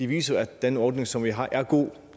viser at den ordning som vi har er god